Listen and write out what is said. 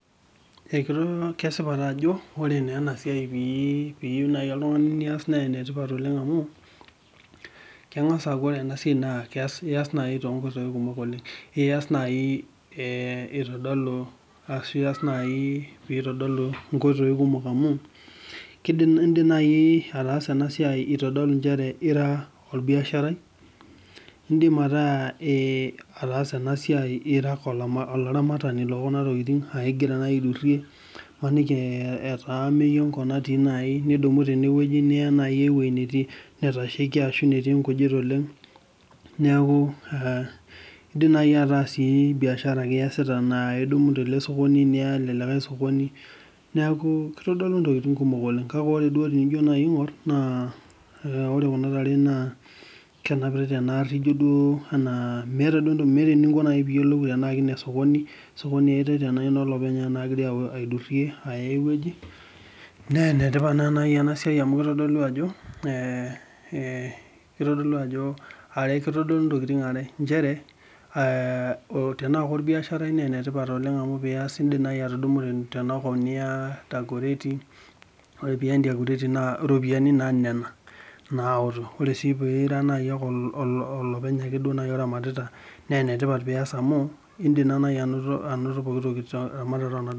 Kesipa ajo ore naa enasiai pee iyieu naaji oltungani niyiolou naa enetipat oleng amu, kengas aaku ore ena siai naa iyas naaji toonkoitoi kumok oleng. Iyas naaji pee eitodolu nkoitoi kumok amu, indim naaji ataasa ena siai eitodolu nchere ira orbiasharai, indim ataasa ena siai aa ira ake olaramatani lookuna tokiting aa ingira naaji aidurie ,maniki aa ameyu enkop natii naji, nidumu teneweji niya aikop natashaikia ashu netii nkujit oleng, neeku indim sii ata biashara naaji ake iyasita metaa idumu tele sokoni, niya ele likae sokoni ,neeku kitodolu ntokiting kumok oleng. Kake tenijo duo naaji aingor naa ore kuna tare kenapitae tena gari ijo duo meeta eniko pee iyiolou tana kenesokoni ena olopeny ogira aidurie aya eweji .Naa enetipat naa naaji ena siai amu kitodolu ajo ntokiting are, nchere tenaa korbiasharai naa enetipat amu indim naaji atudumu tenakop niyantakore naa ore na pee iya entakoreti naa ropiyiani naa nena naoto. Ore sii peeku ira naaji ake olaramatita naa enetipat amu indim sii naaji anoto pooki toki .